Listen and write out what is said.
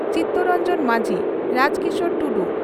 Chittaranjan Majhi Rajkishor Tudu